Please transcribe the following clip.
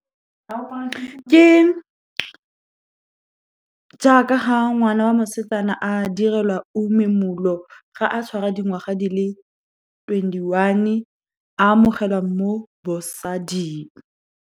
Ke jaaka ga ngwana wa mosetsana a direlwa uMemulo, ga a tshwara dingwaga di le twenty-one, a amogelwa mo bosading.